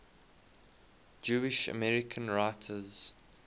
jewish american writers